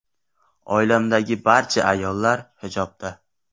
Oilamdagi barcha ayollar hijobda.